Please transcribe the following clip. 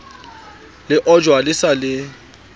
le ojwa le sa le